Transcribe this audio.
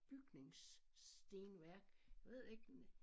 Bygningsstenværk jeg ved ikke